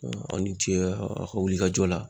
Aw ni ce aw ka wulikajɔ la